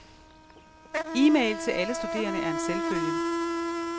Email til alle studerende er en selvfølge.